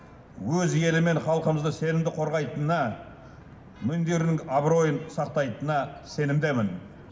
өз елі мен халқымызды сенімді қорғайтынына абыройын сақтайтынына сенімдімін